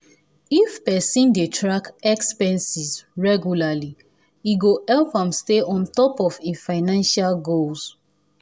if person dey track expenses regularly e go help am stay on top of e financial goals.